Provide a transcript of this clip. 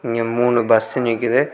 இங்க மூணு பஸ் நிக்குது.